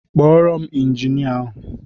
Kpọọrọ m Injinia ahụ